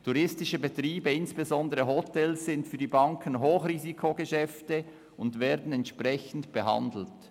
Touristische Betriebe, insbesondere Hotels, sind für die Banken Hochrisikogeschäfte und werden entsprechend behandelt.